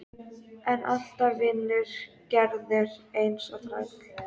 Ég var búinn að drekka mig burt úr héraðinu.